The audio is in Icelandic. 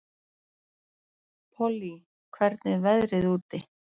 Pollý, hvernig er veðrið úti?